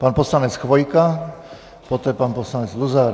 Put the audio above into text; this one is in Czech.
Pan poslanec Chvojka, poté pan poslanec Luzar.